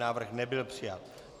Návrh nebyl přijat.